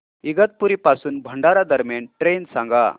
इगतपुरी पासून भंडारा दरम्यान ट्रेन सांगा